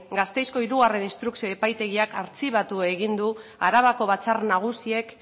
gasteizko hiru instrukzioko epaitegiak artxibatu egin du arabako batzar nagusiek